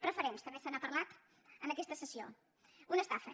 preferents també se n’ha parlat en aquesta sessió una estafa